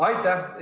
Aitäh!